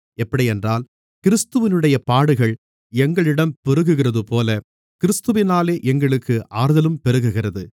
எப்படியென்றால் கிறிஸ்துவினுடைய பாடுகள் எங்களிடம் பெருகுகிறதுபோல கிறிஸ்துவினாலே எங்களுக்கு ஆறுதலும் பெருகுகிறது